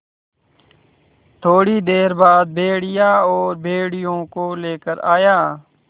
थोड़ी देर बाद भेड़िया और भेड़ियों को लेकर आया